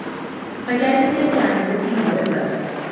Það gæti tekið hana einhvern tíma að uppfæra sig.